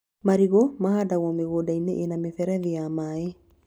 Marigũ mahandagwo mĩgunda-inĩ ĩna mĩberethi ya maĩ